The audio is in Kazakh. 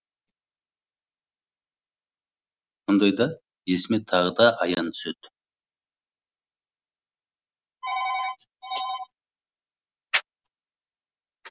ондайда есіме тағы да аян түседі